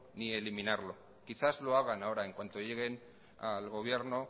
ni eliminarlo quizás lo hagan ahora en cuanto lleguen al gobierno